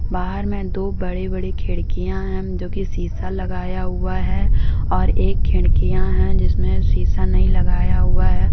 बाहर में दो बड़ी बड़ी खिड़कियां हैं जो की शीशा लगाया हुआ है और एक खिड़कियां है जिसमे शीशा नहीं लगाया हुआ है